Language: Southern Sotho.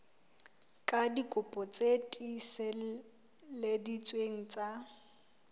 ka dikopi tse tiiseleditsweng tsa